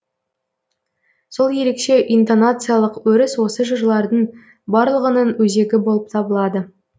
сол ерекше интонациялық өріс осы жырлардың барлығының өзегі болып табылады